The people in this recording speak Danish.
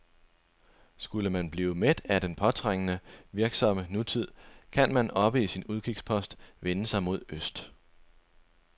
Skulle man blive mæt af den påtrængende, virksomme nutid, kan man oppe på sin udkigspost vende sig mod øst.